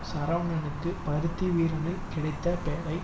சரவணனுக்கு பருத்தி வீரனில் கிடைத்த பெரை